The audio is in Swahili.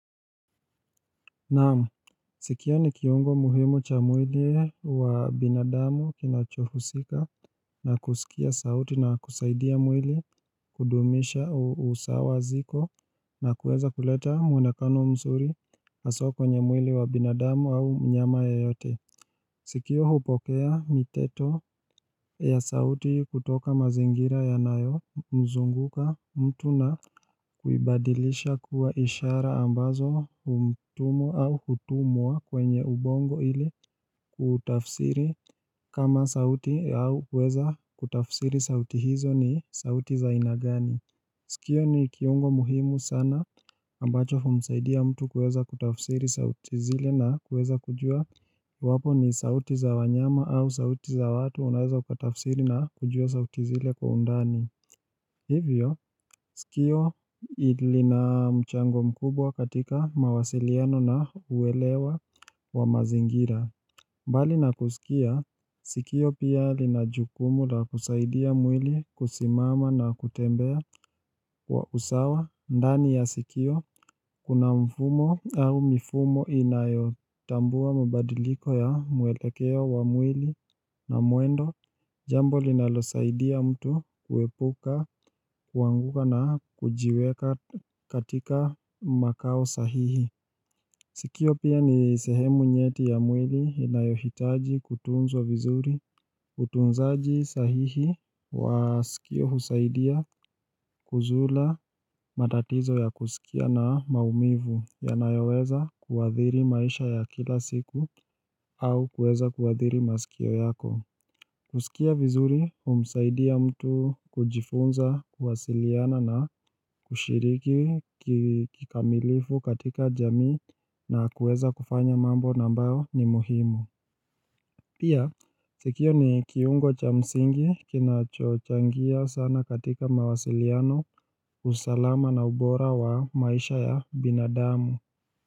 Naam, sikio ni kiungo muhimu cha mwili wa binadamu kinachohusika na kusikia sauti na kusaidia mwili kudumisha usawa ziko na kuweza kuleta mwonekano mzuri haswa kwenye mwili wa binadamu au mnyama yeyote Sikio hupokea miteto ya sauti kutoka mazingira ya nayo mzunguka mtu na kuibadilisha kuwa ishara ambazo humtumu au hutumwa kwenye ubongo ili kutafsiri kama sauti au kuweza kutafsiri sauti hizo ni sauti za aina gani. Sikio ni kiungo muhimu sana ambacho humsaidia mtu kuweza kutafsiri sauti zile na kuweza kujua iwapo ni sauti za wanyama au sauti za watu unaweza ukatafsiri na kujua sauti zile kwa undani. Hivyo, sikio lina mchango mkubwa katika mawasiliano na uwelewa wa mazingira. Mbali na kusikia, sikio pia linajukumu la kusaidia mwili kusimama na kutembea kwa usawa ndani ya sikio, kuna mfumo au mifumo inayo tambua mabadiliko ya mwelekeo wa mwili na mwendo, jambo linalo saidia mtu kuepuka, kuanguka na kujiweka katika makao sahihi. Sikio pia ni sehemu nyeti ya mwili inayohitaji kutunzwa vizuri utunzaji sahihi wa sikio husaidia kuzula matatizo ya kusikia na maumivu ya nayoweza kuadhiri maisha ya kila siku au kuweza kuadhiri masikio yako. Kusikia vizuri humsaidia mtu kujifunza kuwasiliana na kushiriki kikamilifu katika jamii na kuweza kufanya mambo na ambayo ni muhimu Pia sikio ni kiungo cha msingi kinachochangia sana katika mawasiliano usalama na ubora wa maisha ya binadamu.